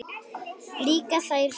Líka þær slæmu.